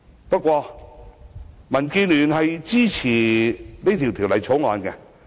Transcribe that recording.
不過，民建聯支持《條例草案》。